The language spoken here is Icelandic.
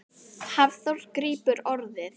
Hafþór grípur orðið.